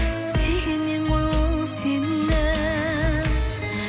сүйгеннен ғой ол сені